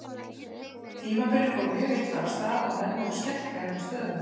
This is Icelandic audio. Tímabilið fór mjög illa af stað og menn voru skelkaðir með stöðuna.